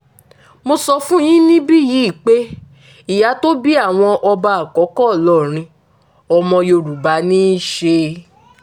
mo sọ fún yín níbí yìí pé ìyá tó bí àwọn ọba àkọ́kọ́ ìlọrin ọmọ yorùbá ní í ṣe